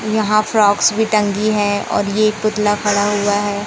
यहां फ़्रॉक्स भी टंकी है और ये पुतला खड़ा हुआ है।